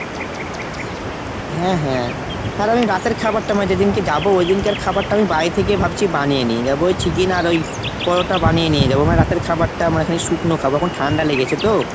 হ্যাঁ হ্যাঁ। আর আমি রাতের খাবারটা মানে যেদিনকে যাবো ওইদিনকের খাবারটা আমি বাড়ি থেকে ভাবছি বানিয়ে নিয়ে যাবো। ওই chicken আর ওই পরোটা বানিয়ে নিয়ে যাব। মানে রাতের খাবারটা মানে শুকনো খাবার কারণ ঠান্ডা লেগেছে তো।